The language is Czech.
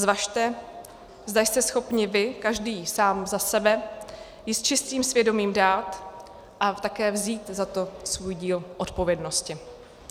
Zvažte, zda jste schopni vy, každý sám za sebe, ji s čistým svědomím dát a také vzít za to svůj díl odpovědnosti.